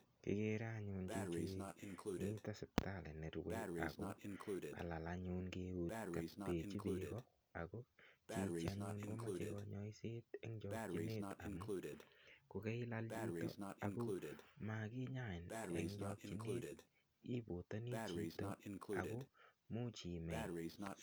Kigere anyun chichi miten sipitali korue ago kalal anyun eut kobechi bek go ako chichi anyun komoche kanyaiset en chokyinet amun kokailal chito ago makinyain en chokyinet ibotoni chito ako Imuch imei